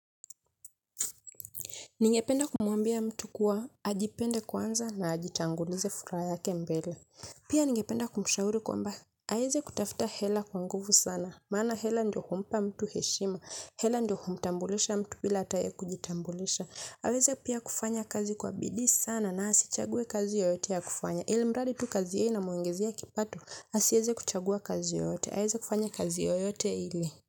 Ningependa kumwambia mtu kuwa ajipende kwanza na ajitangulize furaha yake mbele. Pia ningependa kumshauri kwamba, aweze kutafuta hela kwa nguvu sana. Maana hela ndiyo humpa mtu heshima, hela ndiyo humtambulisha mtu bila hata yeye kujitambulisha. Aweze pia kufanya kazi kwa bidii sana na asichague kazi yoyote ya kufanya. Ilimradi tu kazi hiyo inamwongezea kipato, asiweze kuchagua kazi yoyote. Aweze kufanya kazi yoyote ili.